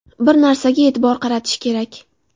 Bir narsaga e’tibor qaratish kerak.